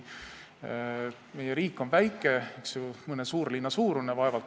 Meie riik on väike, rahvaarvu mõttes vaevalt mõne suurlinna suurune.